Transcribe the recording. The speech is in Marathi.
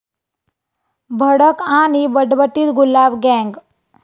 भडक आणि बटबटीत 'गुलाब गँग'!